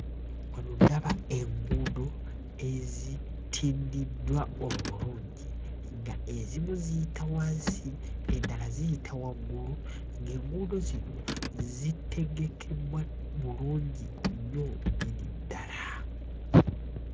Wano ndaba enguudo ezitindiddwa obulungi nga ezimu ziyita wansi endala ziyita waggulu ng'enguudo zino zitegekebbwa bulungi nnyo nnyini ddala.